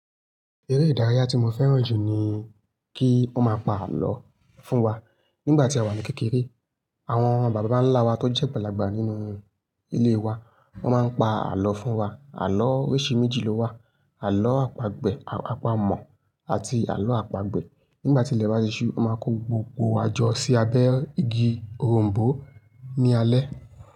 Eré ìdárayá tí mo fẹ́ràn jù ni kí wọ́n má pa àlọ́ fún wa. Nígbà tí a wà ní kékeré, àwọn bàbá ńlá wa tó jẹ́ agbalagba nínú ilé wa, wọ́n máa ń pa àlọ́ fún wa. Àlọ́ oríṣi méjì ló wà: àlọ́ àpagbè–àpamọ̀ àti àlọ́ àpagbè. Nígbà tí ilẹ̀ bá ti ṣú, wọ́n máa kó gbogbo wa jọ sí abẹ́ igi òrom̀bó ní alẹ́